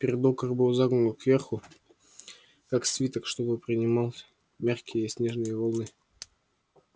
передок их был загнут кверху как свиток чтобы приминать мягкие снежные волны